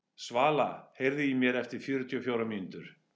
Svala, heyrðu í mér eftir fjörutíu og fjórar mínútur.